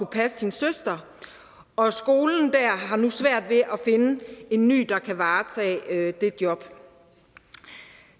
passe sin søster og skolen har nu svært ved at finde en ny der kan varetage det job